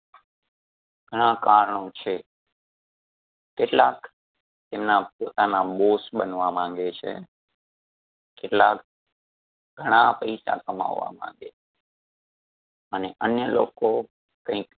ગણા કારણો છે કેટલાક એમના પોતાના બોસ બનવા માંગે છે કેટલાક ઘણા પૈસા કમાવવા માંગે છે અને અન્ય લોકો કઈક